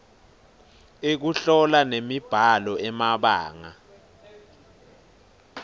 ekuhlola nemibhalo emabanga